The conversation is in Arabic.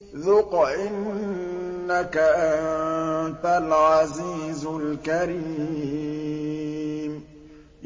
ذُقْ إِنَّكَ أَنتَ الْعَزِيزُ الْكَرِيمُ